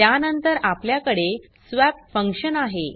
त्यानंतर आपल्याकडे स्वप फंक्शनआहे